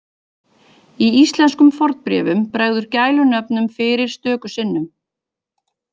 Í íslenskum fornbréfum bregður gælunöfnum fyrir stöku sinnum.